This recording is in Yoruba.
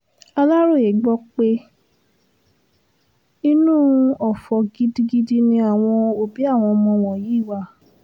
aláròye gbọ́ pé inú ọ̀fọ̀ gidigidi ni àwọn òbí àwọn ọmọ wọ̀nyí wà